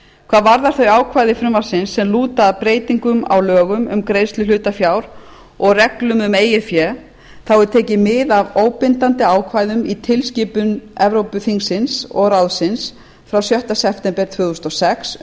hvað varðar þau ákvæði frumvarpsins sem lúta að breytingum á lögum um greiðslu hlutafjár og reglum um eigið fé er tekið mið af óbindandi ákvæðum í tilskipun evrópuþingsins og ráðsins frá sjötta september tvö þúsund og sex